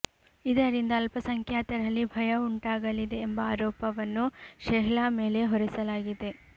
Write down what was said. ಇದರಿಂದ ಅಲ್ಪಸಂಖ್ಯಾತರಲ್ಲಿ ಭಯ ಉಂಟಾಗಲಿದೆ ಎಂಬ ಆರೋಪವನ್ನು ಶೆಹ್ಲಾ ಮೇಲೆ ಹೊರೆಸಲಾಗಿದೆ